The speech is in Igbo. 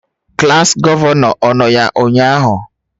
Klas gọvanọ, ọ nọ ya ụnyahụ?